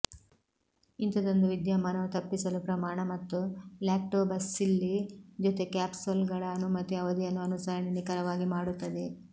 ಇಂಥದೊಂದು ವಿದ್ಯಮಾನವು ತಪ್ಪಿಸಲು ಪ್ರಮಾಣ ಮತ್ತು ಲ್ಯಾಕ್ಟೋಬಸಿಲ್ಲಿ ಜೊತೆ ಕ್ಯಾಪ್ಸೂಲ್ಗಳ ಅನುಮತಿ ಅವಧಿಯನ್ನು ಅನುಸರಣೆ ನಿಖರವಾಗಿ ಮಾಡುತ್ತದೆ